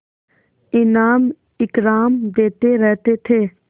इनाम इकराम देते रहते थे